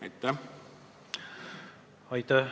Aitäh!